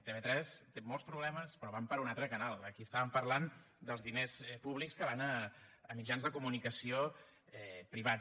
tv3 té molts problemes però van per un altre canal aquí estàvem parlant dels diners públics que van a mitjans de comunicació privats